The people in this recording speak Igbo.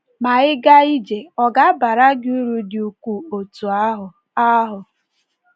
Ma, ịga ije ọ̀ ga - abara gị uru dị ukwuu otú ahụ? ahụ?